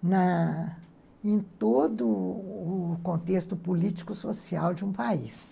né, em todo o contexto político social de um país.